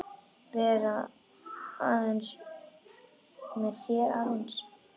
Vera með þér aðeins.